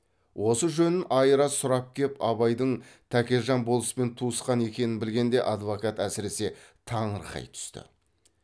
осы жөнін айыра сұрап кеп абайдың тәкежан болыспен туысқан екенін білгенде адвокат әсіресе таңырқай түсті